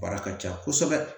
Baara ka ca kosɛbɛ